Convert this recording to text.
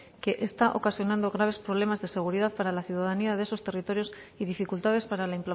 que está ocasionando graves problemas de seguridad para la ciudadanía de esos territorios y dificultades para la